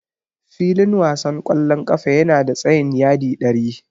Filin wasan ƙwallon ƙafa yana da tsayin yadi ɗari.